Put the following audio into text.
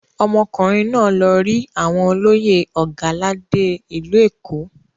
Ọmọkùnrin náà lọ rí àwọn olóyè Ọ̀gàládé ìlú Èkó.